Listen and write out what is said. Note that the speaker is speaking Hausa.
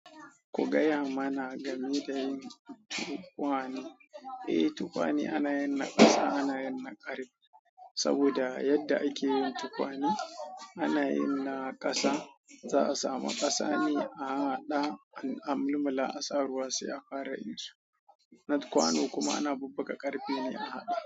Ku gaya mana game da yin tukwane. Eh, tukwane ana yin na ƙasa ana yin na ƙarfe. Saboda yadda ake yin tukwane, ana yin na ƙasa za a samu ƙasa ne a harhaɗa an mulmula asa ruwa sai ya fara yin su. Na kwano kuma ana bubbuga ƙarfe ne a haɗa.